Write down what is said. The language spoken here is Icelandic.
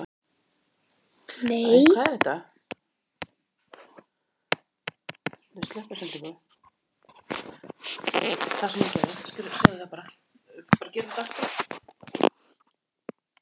Það sem hún gerði